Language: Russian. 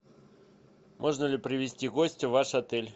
можно ли привести гостя в ваш отель